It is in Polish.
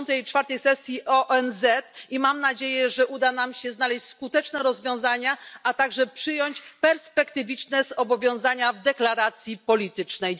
64. sesji ONZ, i mam nadzieję, że uda nam się znaleźć skuteczne rozwiązania, a także przyjąć perspektywiczne zobowiązania w deklaracji politycznej.